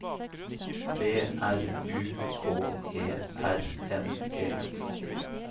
B R U K E R N E